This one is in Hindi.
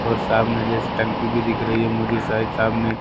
और सामने जैसे टंकी भी दिख रही है मुझे शायद सामने--